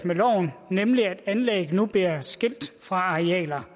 med loven nemlig at anlæg nu bliver skilt fra arealer